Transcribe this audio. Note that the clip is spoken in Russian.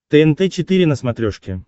тнт четыре на смотрешке